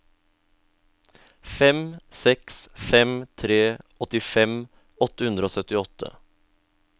fem seks fem tre åttifem åtte hundre og syttiåtte